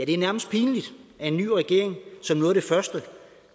det er nærmest pinligt at en ny regering som noget af det første